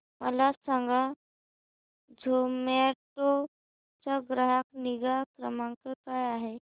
मला सांगा झोमॅटो चा ग्राहक निगा क्रमांक काय आहे